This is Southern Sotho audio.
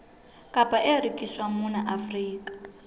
kapa e rekiswang mona afrika